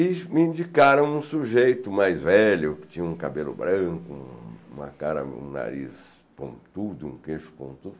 E me indicaram um sujeito mais velho, que tinha um cabelo branco, uma cara, um nariz pontudo, um queixo pontudo.